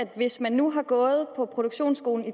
hvis man nu har gået på produktionsskolen